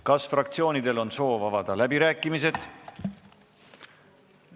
Kas fraktsioonidel on soovi avada läbirääkimised?